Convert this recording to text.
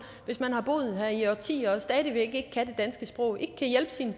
hvis man har boet her i årtier og stadig væk ikke kan det danske sprog ikke kan hjælpe sine